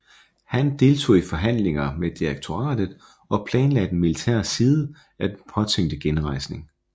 Han deltog i forhandlinger med direktoriet og planlagde den militære side af den påtænkte rejsning